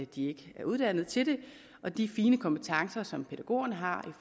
de ikke er uddannet til det og de fine kompetencer som pædagogerne har